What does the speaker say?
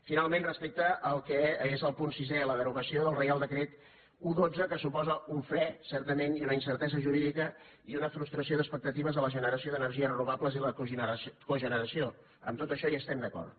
finalment respecte al que és el punt sisè la derogació del reial decret un dotze que suposa un fre certament i una incertesa jurídica i una frustració d’expectatives a la generació d’energies renovables i la cogeneració en tot això hi estem d’acord